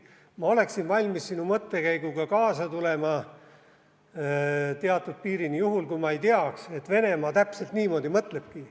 Ma oleksin valmis sinu mõttekäiguga kaasa tulema teatud piirini juhul, kui ma ei teaks, et Venemaa täpselt niimoodi mõtlebki.